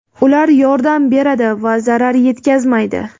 Ular yordam beradi va zarar yetkazmaydi.